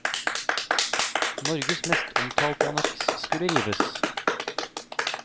Norges mest omtalte anneks skulle rives.